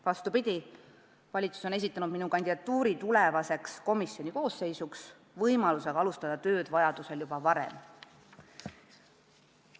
Vastupidi, valitsus on esitanud minu kandidatuuri tulevasse komisjoni koosseisu, aga vajadusel võin tööd alustada juba varem.